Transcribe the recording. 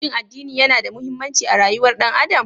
Shin addini yana da mahimmanci a rayuwar ɗan adam?